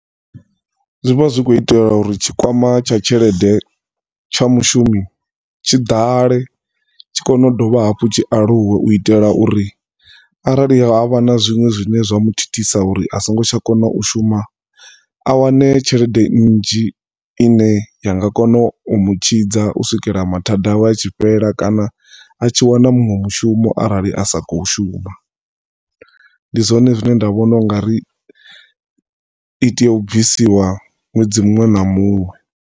Zwi vha zwi kho itelwa uri tshikwama tsha tshelede tsha mushumi tshi ḓale tshi kone u dovha hafhu tshi aluwe u itela uri arali havha na zwinwe zwine zwa mu thithisa uri asingo tsha kona u shuma a wane tshelede nnzhi ine yanga kona umu tshidza u swikela mathada awe a tshi fhela kana atshi wana munwe mushumo arali a sa kho shuma ndi zwone zwine nda vhona ungari ite u bvisiwa ṅwedzi muṅwe na muṅwe.